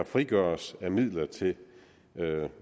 frigøres af midler til